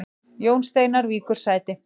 Jón Steinar víkur sæti